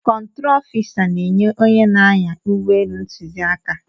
Kọntrol ofisa na-enye onye na-anya ụgbọelu ntụziaka.